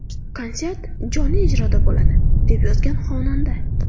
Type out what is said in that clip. Konsert jonli ijroda bo‘ladi”, deb yozgan xonanda.